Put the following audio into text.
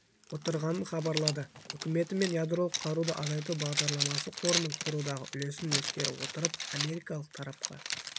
отырғанын хабарлады үкіметі мен ядролық қаруды азайту бағдарламасы қорының құрудағы үлесін ескере отырып америкалық тарапқа